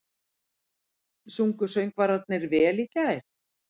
Sungu söngvararnir vel í gær?